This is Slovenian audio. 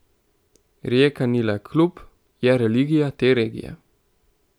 Rijeka ni le klub, je religija te regije.